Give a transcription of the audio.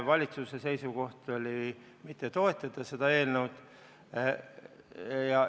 Valitsuse seisukoht oli mitte toetada seda eelnõu.